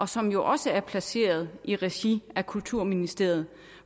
som jo også er placeret i regi af kulturministeriet